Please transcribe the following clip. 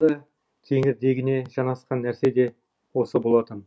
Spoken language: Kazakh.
кеңірдегіне жанасқан нәрсе де осы болатын